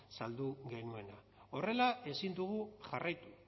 saldu genuena horrela ezin dugu jarraitu